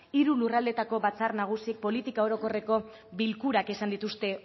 hiru lurraldeetako batzar nagusiek politika orokorreko bilkurak izan dituzte